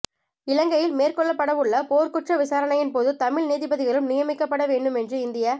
இலங்கையில் மேற்கொள்ளப்படவுள்ள போர்க்குற்ற விசாரணையின்போது தமிழ் நீதிபதிகளும் நியமிக்கப்படவேண்டும் என்று இந்திய